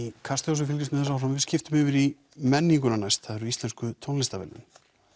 Kastlós við fylgjumst með þessu áfram nú skiptum við yfir í menninguna næst það eru íslensku tónlistarverðlaunin